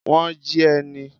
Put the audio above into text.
Wọ́n jí ẹ ni?